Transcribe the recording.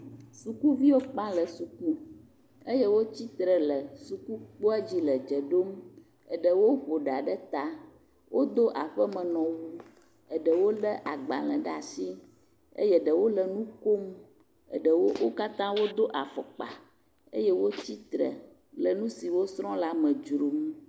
Sukuviwo kpa le suku eye wotsi tre le sukukpodzi le dze ɖom, eɖewo vu ɖa ɖe ta, wodo aƒemenɔwu, eɖewo lé agbalẽ ɖe asi eye eɖewo wo katã wodo afɔkpa eye wotsi tre lenu si wosrɔ la me dzrom.